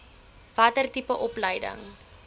watter tipe opleiding